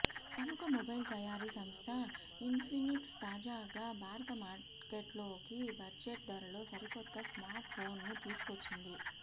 ప్రముఖ మొబైల్ తయారీ సంస్థ ఇన్ఫినిక్స్ తాజాగా భారత మార్కెట్లోకి బడ్జెట్ ధరలో సరికొత్త స్మార్ట్ ఫోన్ ను తీసుకొచ్చింది